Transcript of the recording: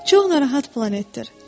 Çox narahat planetdir.